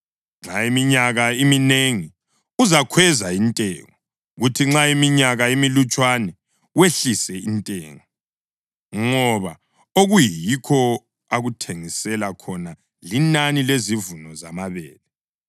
Nxa iminyaka iminengi uzakhweza intengo, kuthi nxa iminyaka imilutshwana wehlise intengo, ngoba okuyikho akuthengisela khona linani lezivuno zamabele.